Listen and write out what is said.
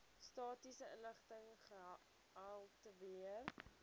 statistiese inligting gehaltebeheer